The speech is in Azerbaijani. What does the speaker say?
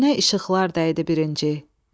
Gözünə işıqlar dəydi birinci.